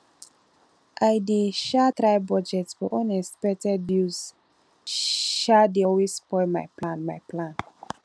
i dey um try budget but unexpected bills um dey always spoil my plan my plan